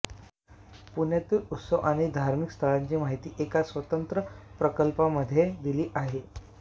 पुण्यातील उत्सव आणि धार्मिक स्थळांची माहिती एका स्वतंत्र प्रकरणमध्ये दिली आहे